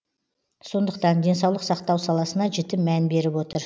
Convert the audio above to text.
сондықтан денсаулық сақтау саласына жіті мән беріп отыр